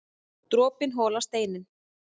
Dropinn holar steininn